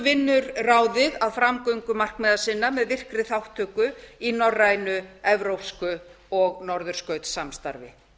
vinnur ráðið að framgöngu markmiða sinna með virkri þátttöku í norrænu evrópsku og norðurskautssamstarfi